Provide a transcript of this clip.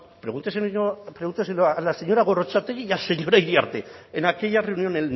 pregúnteselo a la señora gorrotxategi y al señor iriarte en aquella reunión